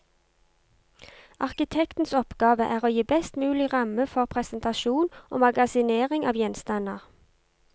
Arkitektens oppgave er å gi best mulig ramme for presentasjon og magasinering av gjenstander.